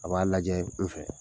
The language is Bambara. A b'a lajɛɛ n fɛ.